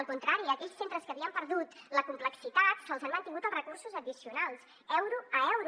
al contrari a aquells centres que havien perdut la complexitat se’ls han mantingut els recursos addicionals euro a euro